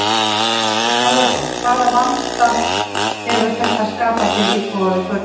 Þorbjörn Þórðarson: Hvaða vanda hefur þetta skapað fyrir íbúa við götuna?